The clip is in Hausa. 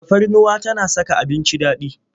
Tafarnuwa tana saka abinci daɗi.